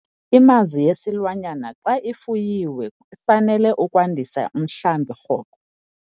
Imazi yesilwanyana xa ifuyiwe ifanele ukwandisa umhlambi rhoqo.